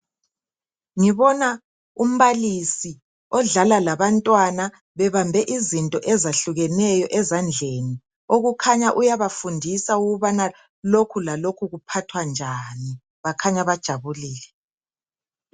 Ngibona umbalisi odlala labantwana bebambe izinto ezahlukeneyo ezandleni okukhanya uyabafundisa ukubana lokhu lalokhu kuphathwa njani bakhanya bathokozile.